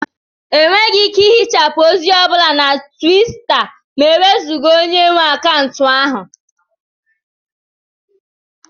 Enweghị ike ihichapụ ozi ọ bụla na Twita ma e wezụga onye nwe akaụntụ ahụ